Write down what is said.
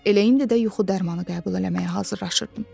Elə indi də yuxu dərmanı qəbul eləməyə hazırlaşırdım.